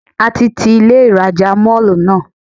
A ti ti Ilé ìrajà Mall náà.